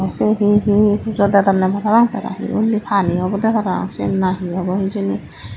sei he he jodadonney pabang tara he undi pani obodey parapang siyen na he obo hijeni.